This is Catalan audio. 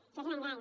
això és un engany